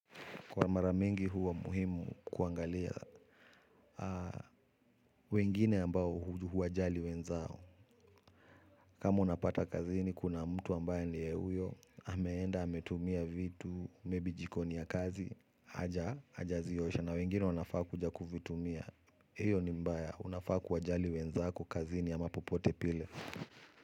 Kwa maramingi huwa muhimu kuangalia wengine ambao huwajali wenzao. Kama unapata kazini, kuna mtu ambaye ni ye huyo, hameenda, hametumia vitu, mebi jikoni ya kazi, haja, hajaziyosha. Na wengine wanafaa kuja kufitumia, hiyo ni mbaya, unafaa kuwajali wenzako kazini yama popote pile.